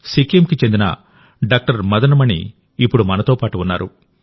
సిక్కింకు చెందిన డాక్టర్ మదన్ మణి ఇప్పుడు మనతో పాటు ఉన్నారు